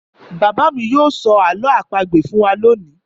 Bàbá mi yóò sọ àlọ́ àpagbè fún wa lónìí.